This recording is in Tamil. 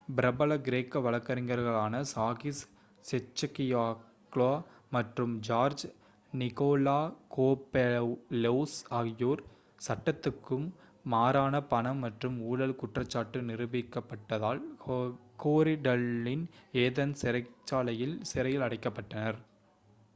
பிரபல கிரேக்க வழக்கறிஞர்களான சாகிஸ் கெச்சகியோக்லோ மற்றும் ஜார்ஜ் நிகோலகோபெளலோஸ் ஆகியோர் சட்டத்துக்கு மாறான பணம் மற்றும் ஊழல் குற்றச்சாட்டு நிரூபிக்கப்பட்டதால் கோரிடல்லஸின் ஏதென்ஸ் சிறைச்சாலையில் சிறையில் அடைக்கப்பட்டனர்